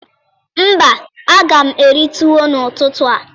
Mba, a ga m eri tuwo n'ututu